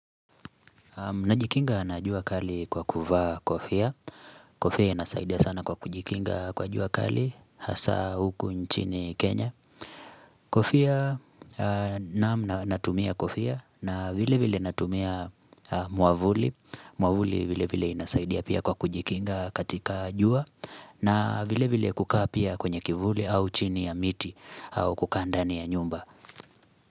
Najikinga na jua kali kwa kuvaa kofia. Kofia inasaidia sana kwa kujikinga kwa jua kali hasa huku nchini Kenya. Kofia natumia kofia na vile vile natumia muamvuli. Muamvuli vile vile inasaidia pia kwa kujikinga katika jua na vile vile kukaa pia kwenye kivuli au chini ya miti au kukaa ndani ya nyumba.